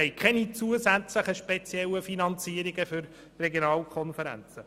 Wir wollen keine zusätzlichen speziellen Finanzierungen für die Regionalkonferenzen.